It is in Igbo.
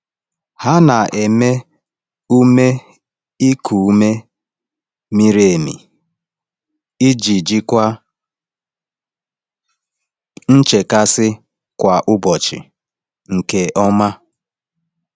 Ha na-eme ume iku ume miri emi iji jikwaa nchekasị kwa ụbọchị nke ọma.